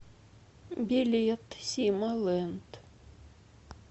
билет сима ленд